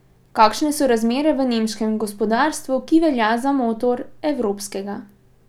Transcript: Kakšne so razmere v nemškem gospodarstvu, ki velja za motor evropskega?